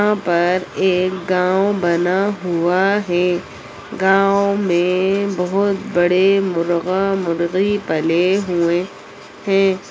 यहाँ पर एक गांव बना हुआ है गांव में बहुत बड़े मुर्गा-मुर्गी पले हुए है।